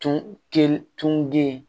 Tun te tun den